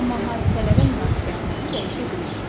Amma hadisələrə münasibətimizi dəyişə bilərik.